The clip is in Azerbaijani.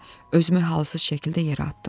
Özümü halsız şəkildə yerə atdım.